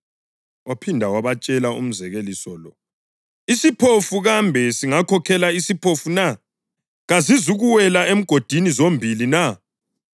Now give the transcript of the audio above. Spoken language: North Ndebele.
Waphinde wabatshela umzekeliso lo, “Isiphofu kambe singakhokhela isiphofu na? Kazizukuwela emgodini zombili na?